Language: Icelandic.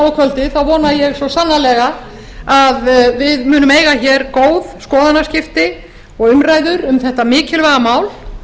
og kvöldið þá vona ég svo sannarlega að við munum eiga hér góð skoðanaskipti og umræður um þetta mikilvæga mál